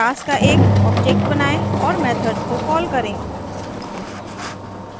class का एक object बनाएँ और methods को कॉल करें